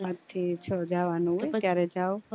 પાંચ થી છ વાગે આવાનું ક્યારા જાવ